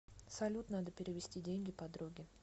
салют надо перевести деньги подруге